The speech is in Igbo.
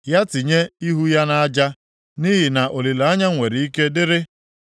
Ya tinye ihu ya nʼaja, nʼihi na olileanya nwere ike dịrị.